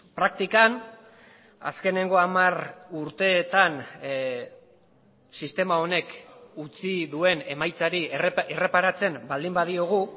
praktikan azkeneko hamar urteetan sistema honek utzi duen emaitzari erreparatzen baldin badiogu